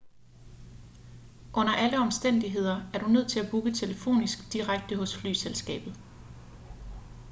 under alle omstændigheder er du nødt til at booke telefonisk direkte hos flyselskabet